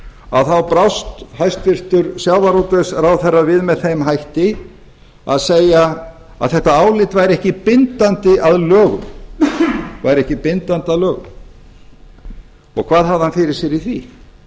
að þá brást hæstvirtur sjávarútvegsráðherra við með þeim hætti að segja að þetta álit væri ekki bindandi að lögum væri ekki bindandi að lögum hvað hafði hann fyrir sér í því